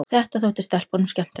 Þetta þótti stelpunum skemmtilegt.